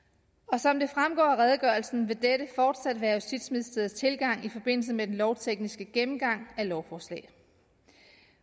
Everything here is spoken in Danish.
som det fremgår af redegørelsen vil dette fortsat være justitsministeriets tilgang i forbindelse med den lovtekniske gennemgang af lovforslaget